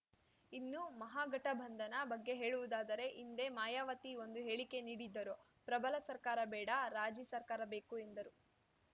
ಇನ್ನು ಮಹಾಗಠಬಂಧನ ಬಗ್ಗೆ ಹೇಳುವುದಾದರೆ ಹಿಂದೆ ಮಾಯಾವತಿ ಒಂದು ಹೇಳಿಕೆ ನೀಡಿದ್ದರು ಪ್ರಬಲ ಸರ್ಕಾರ ಬೇಡ ರಾಜಿ ಸರ್ಕಾರ ಬೇಕು ಎಂದರು